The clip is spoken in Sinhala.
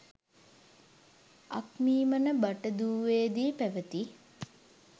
අක්මීමන බටදුවේදී පැවති